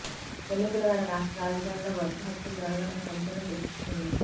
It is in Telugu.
ఎన్నికల వేళ రాష్ట్ర రాజధానిలో వరుస హత్యలు జరగడం సంచలనం సృష్టిస్తోంది